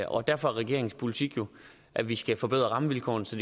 og derfor er regeringens politik at vi skal forbedre rammevilkårene så